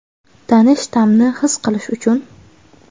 tanish ta’mni his qilish uchun.